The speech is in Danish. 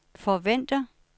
forventer